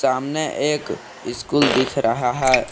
सामने एक स्कूल दिख रहा है।